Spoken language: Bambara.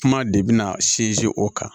Kuma de bina sinsin o kan